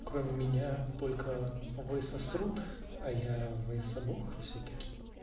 кроме меня только высасывают а я вас обоих всё-таки